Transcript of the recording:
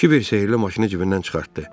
Kibir sehrli maşını cibindən çıxartdı.